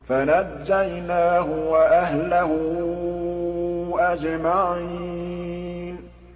فَنَجَّيْنَاهُ وَأَهْلَهُ أَجْمَعِينَ